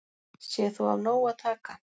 Sé þó af nógu að taka